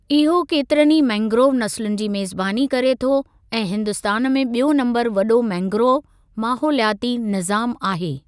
इहो केतिरनि ई मैंग्रोव नसुलनि जी मेज़बानी करे थो ऐं हिन्दुस्तान में ॿियो नम्बरु वॾो मैंग्रोव माहोलियाती निज़ामु आहे।